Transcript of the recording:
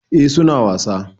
Eh su na wasa.